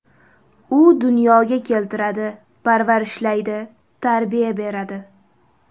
U dunyoga keltiradi, parvarishlaydi, tarbiya beradi.